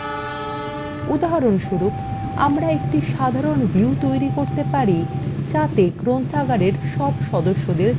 উদাহরণস্বরূপ আমরা একটি সাধারণ view তৈরী করতে পারি যাতে গ্রন্থাগারের সকল সদস্যদের তালিকা থাকবে